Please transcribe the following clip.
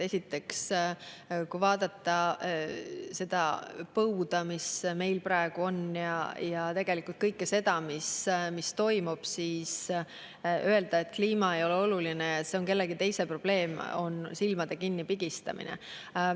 Esiteks, kui vaadata seda põuda, mis meil praegu on, ja tegelikult kõike seda, mis toimub, siis öelda, et kliima ei ole oluline ja see on kellegi teise probleem, on silmade kinnipigistamine.